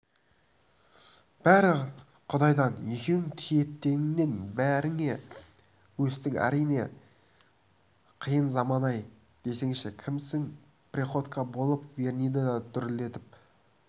бәрі құдайдан екеуің титтейіңнен бірге өстің әрине қиын заман-ай десеңші кімсің приходько болып верныйды дүрілдетіп